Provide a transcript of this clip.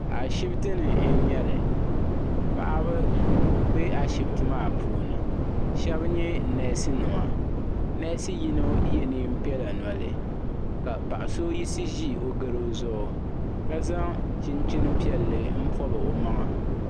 Ashiptini n nyɛli paɣaba be ashipti maa puuni sheba nyɛ neesi nima neesi yino ye niɛn'piɛla noli ka paɣa so yiɣisi ʒi o goro zuɣu ka zaŋ chinchin piɛlli m pobi o maŋa.